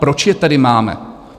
Proč je tedy máme?